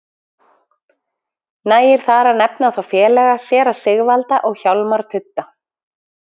Nægir þar að nefna þá félaga séra Sigvalda og Hjálmar tudda.